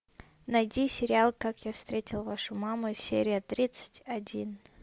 найди сериал как я встретил вашу маму серия тридцать один